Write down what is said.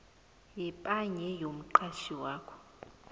yepaye yomqatjhi wakho